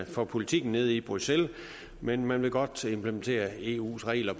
for politikken nede i bruxelles men man vil godt implementere eus regler